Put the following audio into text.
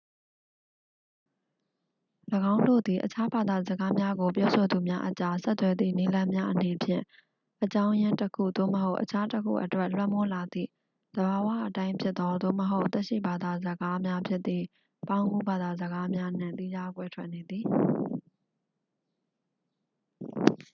၎င်းတို့သည် အခြားဘာသာစကားများကို ပြောဆိုသူများအကြား ဆက်သွယ်သည့် နည်းလမ်းများအနေဖြင့် အကြောင်းရင်းတစ်ခု သို့မဟုတ် အခြားတစ်ခုအတွက် လွှမ်းမိုးလာသည့် သဘာဝအတိုင်းဖြစ်သော သို့မဟုတ် သက်ရှိဘာသာစကားများဖြစ်သည့် ပေါင်းကူးဘာသာစကားများနှင့် သီးခြားကွဲထက်နေသည်